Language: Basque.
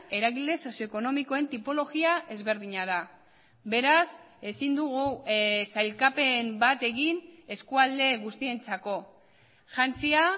eragile sozio ekonomikoen tipologia ezberdina da beraz ezin dugu sailkapen bat egin eskualde guztientzako jantzia